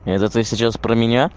это ты сейчас про меня